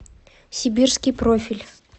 сибирский профиль